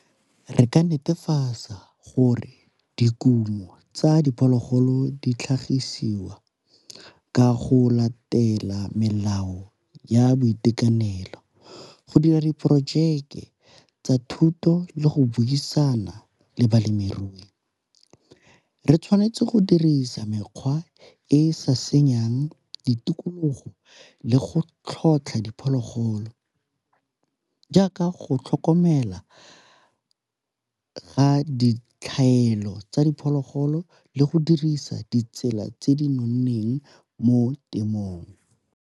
Re ka netefatsa gore dikumo tsa diphologolo di tlhagisiwa ka go latela melao ya boitekanelo, go dira diporojeke tsa thuto le go buisana le balemirui. Re tshwanetse go dirisa mekgwa e e sa senyeng di tikologo le go tlhotlha diphologolo, jaaka go tlhokomela ga ditlhaelo tsa diphologolo le go dirisa ditsela tse di nonneng mo temothuong.